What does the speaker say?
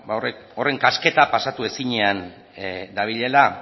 horren kasketa pasatu ezinean dabilela